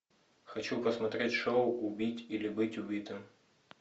хочу посмотреть шоу убить или быть убитым